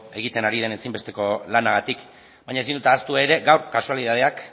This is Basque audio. egiten ari den ezinbesteko lanagatik baina ezin dut ahaztu ere gaur kasualitateak